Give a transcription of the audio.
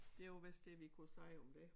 Det var vist det vi kunne sige om dét